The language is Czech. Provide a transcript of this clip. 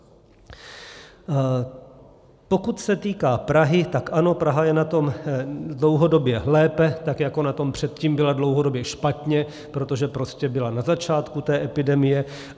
Pokud se týká Prahy, tak ano, Praha je na tom dlouhodobě lépe tak jako na tom předtím byla dlouhodobě špatně, protože prostě byla na začátku té epidemie.